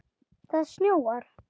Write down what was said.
Það snjóar.